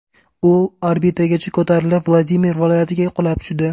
U orbitagacha ko‘tarilib, Vladimir viloyatiga qulab tushdi.